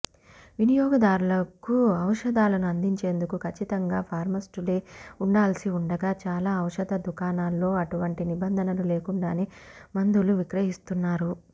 వినియోగదారులకు ఔషధాలను అందించేందుకు కచ్చితంగా ఫార్మస్స్టులే ఉండాల్సి ఉండగా చాల ఔషధ దుకాణాల్లో అటువంటి నిబంధనలు లేకుండానే మందులు విక్రహిస్తూన్నారు